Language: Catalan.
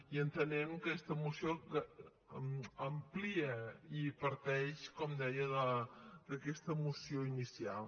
i entenem que aquesta moció amplia i parteix com deia d’aquesta moció inicial